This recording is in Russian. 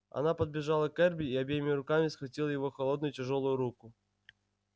она подбежала к эрби и обеими руками схватила его холодную тяжёлую руку